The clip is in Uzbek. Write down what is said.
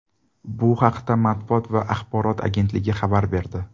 Bu haqda matbuot va axborot agentligi xabar berdi .